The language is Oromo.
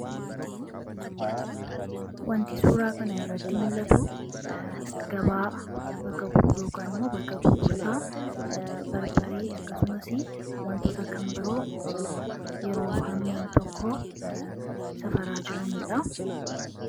Wanti suuraa kana irratti mul'atu gabaa bakka gurgurtaa fi wantoota kan biroo yeroo harmeen tokko safaraa jiraniidha.